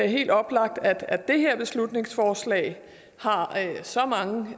helt oplagt at det her beslutningsforslag har så mange